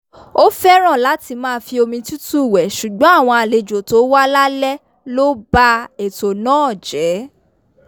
ó fẹ́ràn láti máa fi omi tútù wẹ̀ ṣùgbọ́n àwọn àlejò tó wá lálẹ́ ló ba ètò náà jẹ́